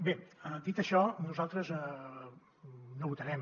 bé dit això nosaltres no votarem